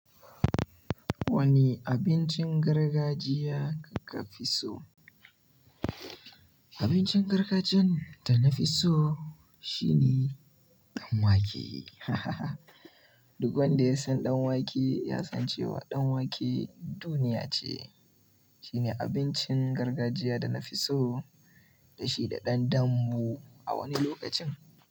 Wane abincin gargajiya kafi so? Abincin gargajiyan da na fi so shine danwake. Duk wanda ya san danwake ya san cewa danwake duniya ce. Shine abincin gargajiya da na fi so, da shi da ɗan ɗanbu a wani lokacin.